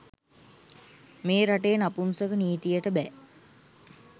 මේ රටේ නපුංසක නීතියට බැ..